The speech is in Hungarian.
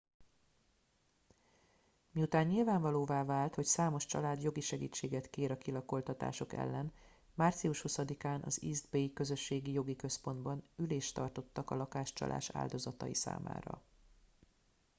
miután nyilvánvalóvá vált hogy számos család jogi segítséget kér a kilakoltatások ellen március 20 án az east bay közösségi jogi központban ülést tartottak a lakáscsalás áldozatai számára